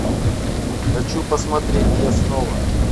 хочу посмотреть я снова